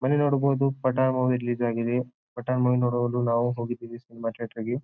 ಬನ್ನಿ ನೋಡ ಬಹುದು ಪಟ್ ಮೂವಿ ರಿಲೀಸ್ ಆಗಿದೆ ಪಟ್ ಮೂವಿ ನೋಡಲು ನಾವು ಹೋಗಿದ್ವಿ ಸಿನಿಮಾ ಥಿಯೇಟರ್ ಗೆ .